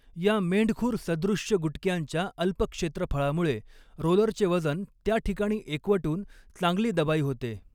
या मेंढखुर सदृष्य गुटक्यांच्या अल्प क्षेत्रफळामुळे रोलरचे वजन त्याठिकाणी एकवटून चांगली दबाई होते.